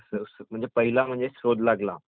हो को..कोणी लावला शोध?